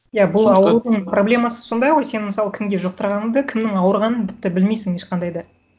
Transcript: иә проблемасы сондай ғой сен мысалы кімге жұқтырғаныңды кімнің ауырғанын тіпті білмейсің ешқандай да